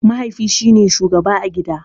Mahaifi shine shugaba a gida.